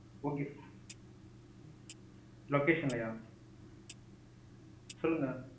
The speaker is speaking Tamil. okay location லையா சொல்லுங்க.